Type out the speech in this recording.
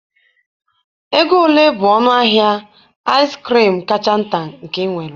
Ego ole bụ ọnụ ahịa ice cream kacha nta nke ị nwere?